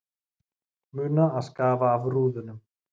Muna að skafa af rúðunum